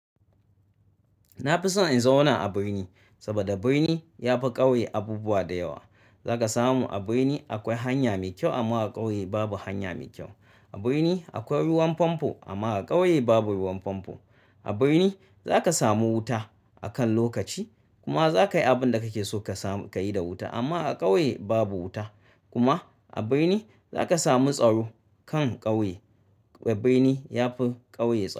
Na fi son in zauna a birni saboda birni ya fi ƙauye abubuwa da yawa. Zaka samu a birni akwai hanya mai kyau amma a ƙauye babu hanya mai kyau. A birni akwai ruwan famfo amma a ƙauye babu ruwan famfo. A birni zaka samu wuta akan lokaci kuma zaka yi abin da kake so ka yi da wuta. Amma a ƙauye babu wuta. Kuma a birni zaka samu tsaro kan ƙauye. Birni ya fi ƙauye tsaro.